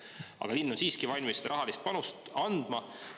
Aga linn on siiski valmis seda rahalist panust andma.